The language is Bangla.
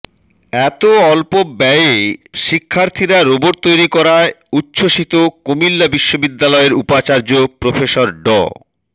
এত অল্প ব্যয়ে শিক্ষার্থীরা রোবট তৈরি করায় উচ্ছ্বসিত কুমিল্লা বিশ্ববিদ্যালয়ের উপাচার্য প্রফেসর ড